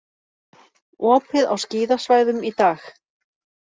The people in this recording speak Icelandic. Opið á skíðasvæðum í dag